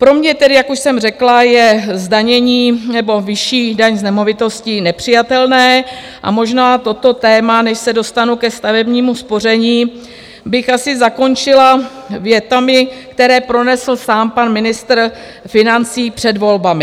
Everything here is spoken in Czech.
Pro mě tedy, jak už jsem řekla, je zdanění nebo vyšší daň z nemovitostí nepřijatelná a možná toto téma, než se dostanu ke stavebnímu spoření, bych asi zakončila větami, které pronesl sám pan ministr financí před volbami.